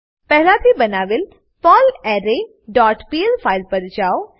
પહેલા થી બનાવેલ પર્લરે ડોટ પીએલ ફાઈલ પર જાઓ